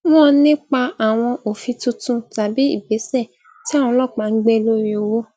wọn nípa àwọn òfin tuntun tàbí ìgbésè tí àwọn ọlópàá n gbé lori òwò